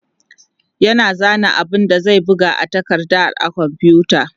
yana zana abun da zai buga a takardar a komfuta